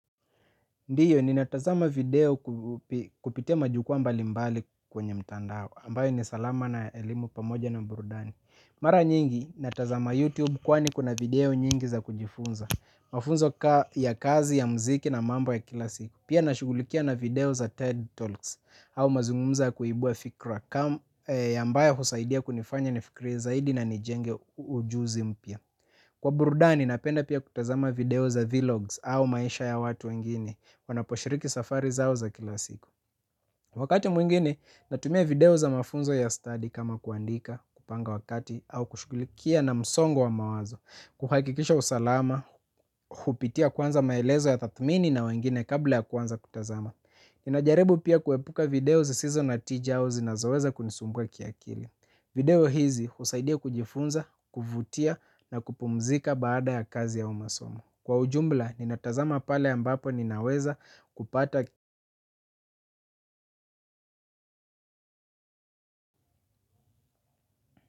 Ndiyo ninatazama video kupi kupitia majukua mbali mbali kwenye mtandao, ambayo ni salama na elimu pamoja na burudani. Mara nyingi, natazama YouTube kwani kuna video nyingi za kujifunza. Mafunzo kama ya kazi, ya muziki na mambo ya kila siku. Pia nina shugulikia na video za TED Talks, au mazungumzo ya kuibua fikra, kama ambayo husaidia kunifanya ni fikirie zaidi na nijenge ujuzi mpya. Kwa burudani, napenda pia kutazama video za vlogs au maisha ya watu wengine. Wanaposhiriki safari zao za kila siku. Wakati mwingine natumia video za mafunzo ya study kama kuandika, kupanga wakati, au kushukulikia na msongo wa mawazo, kuhakikisha usalama, hupitia kwanza maelezo ya tathmini na wengine kabla ya kuanza kutazama. Ninajaribu pia kuepuka video zisizo na tija zinazoweza kunisumbua kiakili. Video hizi husaidia kujifunza, kuvutia na kupumzika baada ya kazi au masomo. Kwa ujumla, ninatazama pale ambapo ninaweza kupata.